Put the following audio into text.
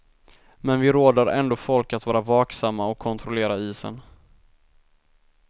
Men vi råder ändå folk att vara vaksamma och kontrollera isen.